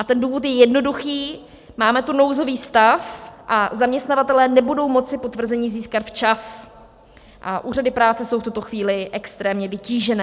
A ten důvod je jednoduchý - máme tu nouzový stav a zaměstnavatelé nebudou moci potvrzení získat včas a úřady práce jsou v tuto chvíli extrémně vytížené.